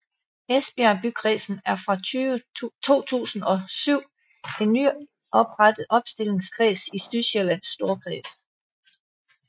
Esbjerg Bykredsen er fra 2007 en nyoprettet opstillingskreds i Sydjyllands Storkreds